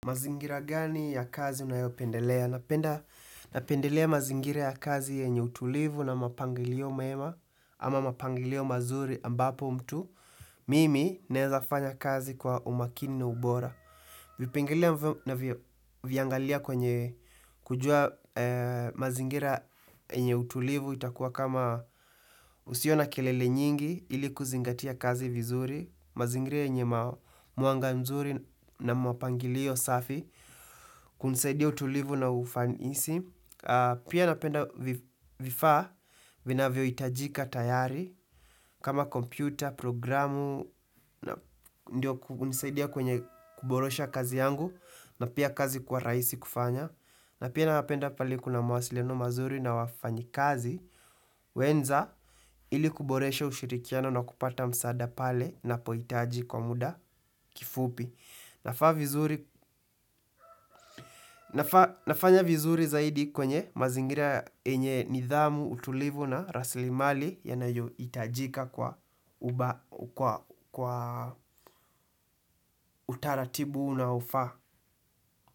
Mazingira gani ya kazi unayopendelea? Napendelea mazingira ya kazi yenye utulivu na mapangilio mema ama mapangilio mazuri ambapo mtu, mimi naezafanya kazi kwa umakini na ubora. Vipengele navyoviangalia kwenye kujua mazingira yenye utulivu itakuwa kama usio na kelele nyingi ili kuzingatia kazi vizuri, mazingira yenye mwanga mzuri na mapangilio safi. Kunisaidia utulivu na ufanisi. Pia napenda vifaa vinavyohitajika tayari. Kama kompyuta, programu ndiyo kunisaidia kwenye kuboresha kazi yangu. Na pia kazi kuwa rahisi kufanya. Na pia napenda pahali kuna mawasiliano mazuri na wafanyikazi. Wenza ili kuboresha ushirikiano na kupata msaada pale napohitaji kwa muda kifupi. Nafanya vizuri zaidi kwenye mazingira yenye nidhamu, utulivu na rasilimali yanayohitajika kwa utaratibu na ufa.